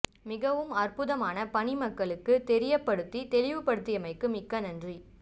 மிகவும் அற்ப்புதமான பணி மக்களுக்கு தெரியபடுத்தி தெளிவு படுத்தியமைக்கு மிக்க நன்றி